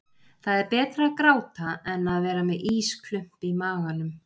Það er betra að gráta en að vera með ísklump í maganum.